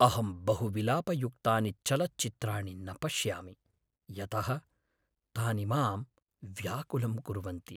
अहं बहुविलापयुक्तानि चलच्चित्राणि न पश्यामि, यतः तानि मां व्याकुलं कुर्वन्ति।